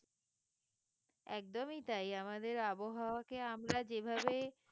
একদমই তাই আমাদের আবহাওয়াকে আমরা যেভাবে